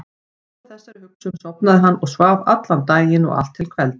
Út frá þessari hugsun sofnaði hann og svaf daginn allan og allt til kvelds.